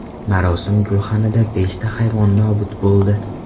Marosim gulxanida beshta hayvon nobud bo‘ldi.